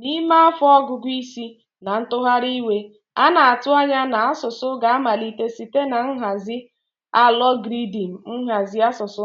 N'ime afọ ọgụgụ isi na ntụgharị igwe, a na-atụ anya na asụsụ ga-amalite site na nhazi algọridim nhazi asụsụ